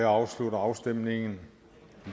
afstemningen